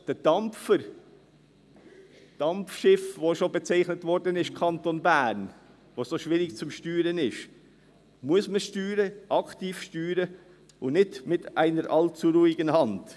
Der Dampfer, das Dampfschiff, als das der Kanton Bern schon bezeichnet wurde, das so schwierig zum Steuern ist, muss man steuern, aktiv steuern und nicht mit einer allzu ruhigen Hand.